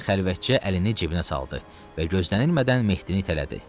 Karrantiya xəlvətcə əlini cibinə saldı və gözlənilmədən Mehdini itələdi.